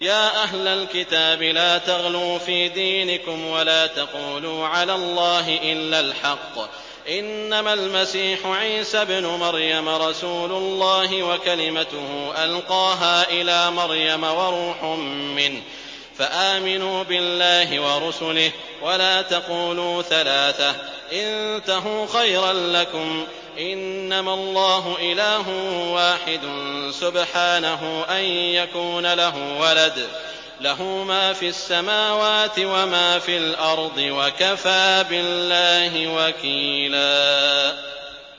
يَا أَهْلَ الْكِتَابِ لَا تَغْلُوا فِي دِينِكُمْ وَلَا تَقُولُوا عَلَى اللَّهِ إِلَّا الْحَقَّ ۚ إِنَّمَا الْمَسِيحُ عِيسَى ابْنُ مَرْيَمَ رَسُولُ اللَّهِ وَكَلِمَتُهُ أَلْقَاهَا إِلَىٰ مَرْيَمَ وَرُوحٌ مِّنْهُ ۖ فَآمِنُوا بِاللَّهِ وَرُسُلِهِ ۖ وَلَا تَقُولُوا ثَلَاثَةٌ ۚ انتَهُوا خَيْرًا لَّكُمْ ۚ إِنَّمَا اللَّهُ إِلَٰهٌ وَاحِدٌ ۖ سُبْحَانَهُ أَن يَكُونَ لَهُ وَلَدٌ ۘ لَّهُ مَا فِي السَّمَاوَاتِ وَمَا فِي الْأَرْضِ ۗ وَكَفَىٰ بِاللَّهِ وَكِيلًا